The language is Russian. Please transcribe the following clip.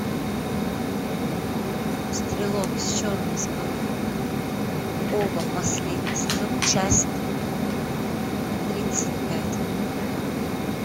стрелок с черной скалы ова последний сезон часть тридцать пять